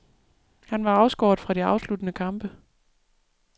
Han var afskåret fra de afsluttende kampe.